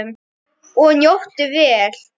Og njóttu vel.